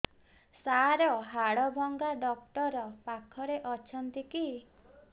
ସାର ହାଡଭଙ୍ଗା ଡକ୍ଟର ପାଖରେ ଅଛନ୍ତି କି